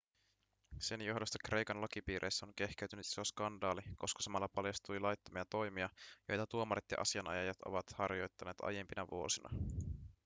sen johdosta kreikan lakipiireissä on kehkeytynyt iso skandaali koska samalla paljastui laittomia toimia joita tuomarit ja asianajajat ovat harjoittaneet aiempina vuosina